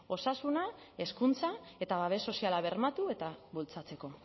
osasuna hezkuntza eta babes soziala bermatu eta bultzatzeko